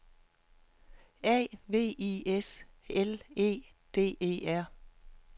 A V I S L E D E R